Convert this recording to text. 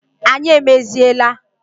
Anyị emeziela